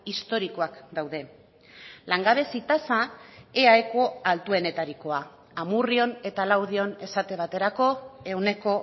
historikoak daude langabezi tasa eaeko altuenetarikoa amurrion eta laudion esate baterako ehuneko